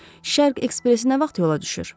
Şərq ekspresi nə vaxt yola düşür?